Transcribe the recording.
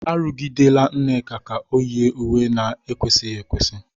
Arụgidela Nneka ka o yie uwe na-ekwesịghị ekwesị!